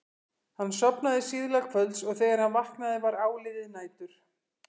Hann sofnaði síðla kvölds og þegar hann vaknaði var áliðið nætur.